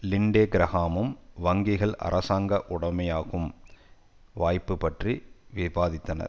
லிண்டே கிரகாமும் வங்கிகள் அரசாங்க உடைமையாகும் வாய்ப்பு பற்றி விவாதித்தனர்